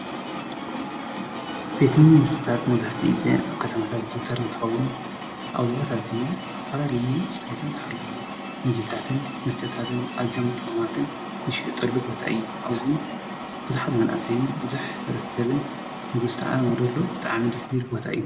ቤተ ምግብን መስተታት መብዛሕቱኡ ግዜ ኣብ ከተማታት ዝዝውተር እንትኸውን፣ ኣብዚ ቦታ እዚ ዝተፈላለዩ ፅሬቶም ዝሓለው ምግብታትን መስተታትን ኣዚዮም ጥዑማትን ዝሽየጠሉ ቦታ እዩ። አብዙይ ብዙሓት መናእሰይን ሕብረተሰብ ዝስተኣነገደሉ ብጣዕሚ ደስ ዝብል ቦታ እዩ::